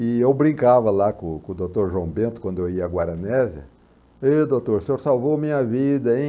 E eu brincava lá com com o doutor João Bento, quando eu ia à Guaranésia, e doutor, o senhor salvou minha vida, hein?